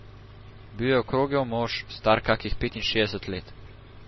Bil je okrogel mož, star kakih petinšestdeset let.